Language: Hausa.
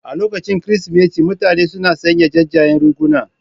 A lokacin Kirsimeti mutane sun sanya jajayen riguna.